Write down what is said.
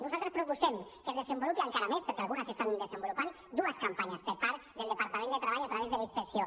nosaltres proposem que es desenvolupin encara més perquè algunes s’estan desenvolupant dues campanyes per part del departament de treball a través de la inspecció